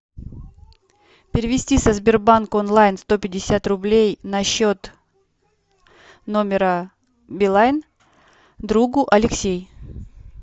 перевести со сбербанк онлайн сто пятьдесят рублей на счет номера билайн другу алексей